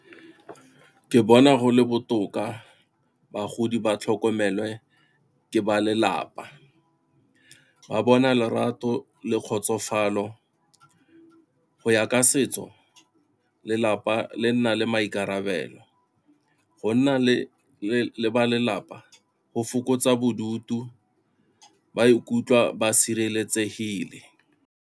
Ke bona go le botoka bagodi ba tlhokomelwe ke ba lelapa, ba bona lerato le kgotsofalo. Go ya ka se setso lelapa le nna le maikarabelo, go nna le ba lelapa go fokotsa bodutu ba ikutlwa ba sireletsegile.